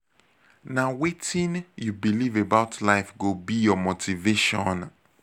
nah wetin you believe about life go be your motivation